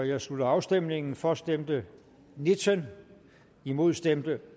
jeg slutter afstemningen for stemte nitten imod stemte